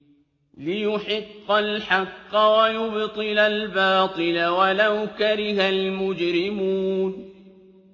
لِيُحِقَّ الْحَقَّ وَيُبْطِلَ الْبَاطِلَ وَلَوْ كَرِهَ الْمُجْرِمُونَ